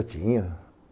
Eu tinha.